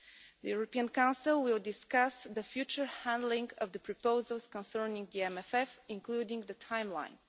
The European Council will discuss the future handling of the proposals concerning the MFF, including the timeline.